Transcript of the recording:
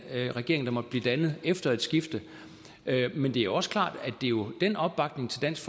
regering der måtte blive dannet efter et skifte men det er også klart at det jo er den opbakning til dansk